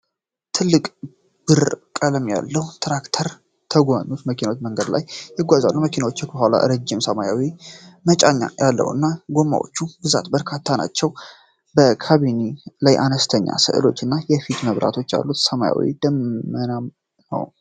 ትልቅ፣ ብር ቀለም ያለው ትራክተር ተጎታች መኪና በመንገድ ላይ ይጓዛል። መኪናው ከኋላው ረዥም ሰማያዊ መጫኛ ያለው እና፣ የጎማዎች ብዛት በርካታ ነው። በካቢኑ ላይ አነስተኛ ሥዕሎች እና የፊት መብራቶች አሉ። ሰማዩ ደመናማ ነው።